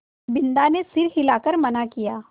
बिन्दा ने सर हिला कर मना किया